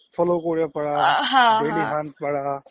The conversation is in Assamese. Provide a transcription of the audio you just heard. ইনশ্বৰ্ট follow কৰিব পাৰা ডেইলিহান্ট পাৰা